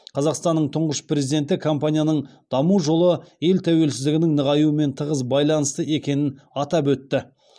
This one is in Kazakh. қазақстанның тұңғыш президенті компанияның даму жолы ел тәуелсіздігінің нығаюымен тығыз байланысты екенін атап өтті